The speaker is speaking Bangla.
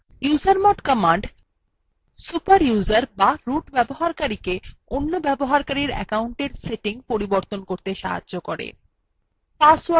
usermod command super user the root ব্যবহারকারীকে অন্য ব্যবহারকারীর accounts সেটিং পরিবর্তন করতে সাহায্য করে